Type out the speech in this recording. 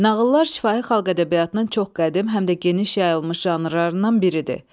Nağıllar şifahi xalq ədəbiyyatının çox qədim, həm də geniş yayılmış janrlarından biridir.